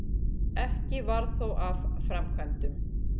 Ekki varð þó af framkvæmdum.